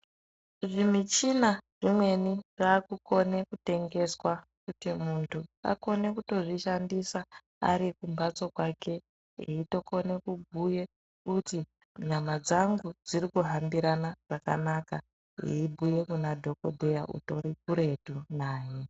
Zvi michina zvimweni zvaku kone ku tengeswa kuti muntu akone kutozvi shandisa ari kumbatso kwake eyito kone kubhuye kuti nyama dzangu dziri kuhambirana zvakanaka eyi bhuye kuna dhokodheya utori kuretu naye.